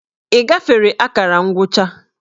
Ị gafere akara ngwụcha?